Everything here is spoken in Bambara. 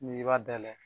N'i b'a dayɛlɛ